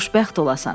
Xoşbəxt olasan.